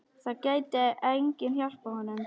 Það gæti enginn hjálpað honum.